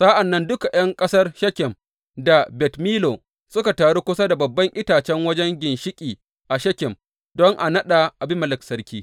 Sa’an nan duka ’yan ƙasar Shekem da Bet Millo suka taru kusa da babban itacen wajen ginshiƙi a Shekem don a naɗa Abimelek sarki.